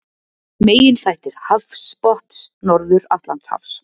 Meginþættir hafsbotns Norður-Atlantshafs.